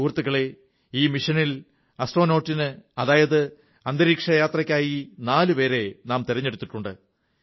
സുഹൃത്തുക്കളേ ഈ ദൌത്യത്തിൽ ബഹിരാകാശയാത്രയ്ക്കായി നാലു പേരെ തിരഞ്ഞെടുത്തിട്ടുണ്ട്